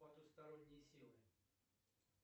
потусторонние силы